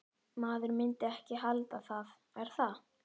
Maður myndi ekki halda það, er það?